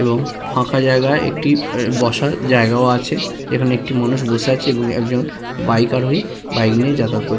এবং ফাঁকা জায়গায় একটি বসার জায়গায়ও আছে এখানে একটি মানুষ বসে আছে এবং একজন বাইকার ওই বইকে নিয়ে যাতায়াত কর।